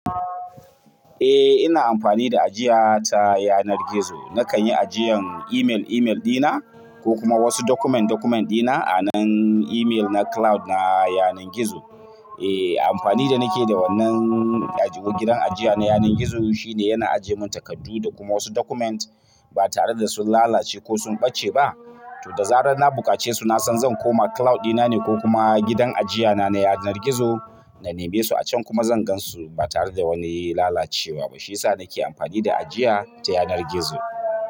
Eh ina amfani da ajiya ta yanar gizo. Nakan yi ajiyan email email ɗina ko kuma wasu document document ɗina a nan email na cloud na yanar gizo. Eh amfani da nake da wannan ajiwo gidan ajiya na yanar gizo shine yana ajiye mun takardu da kuma wasu document ba tare da sun lalace ko sun ɓace ba. To da zarar na buƙace su nasan zan koma cloud ɗina ne ko kuma gidan ajiya na na yanar gizo. Na neme su a can kuma zan gan su ba tare da wani lalacewa ba. Shiyasa nake amfani da ajiya ta yanar gizo.